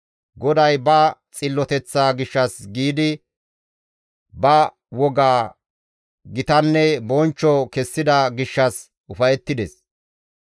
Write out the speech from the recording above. GODAY ba xilloteththaa gishshas giidi, ba wogaa gitanne bonchcho kessida gishshas ufayettides.